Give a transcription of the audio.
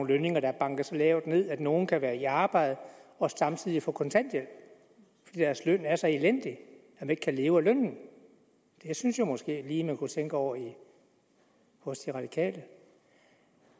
lønninger der er banket så lavt ned at nogle kan være i arbejde og samtidig få kontanthjælp deres løn er så elendig at man ikke kan leve af lønnen det synes jeg måske lige man kunne tænke over hos de radikale